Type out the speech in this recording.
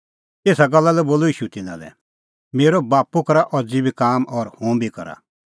एसा गल्ला लै बोलअ ईशू तिन्नां लै मेरअ बाप्पू करा अज़ी बी काम और हुंबी करा